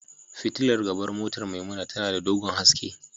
Fitilar gaban motar Maimuna tana da dogon haske.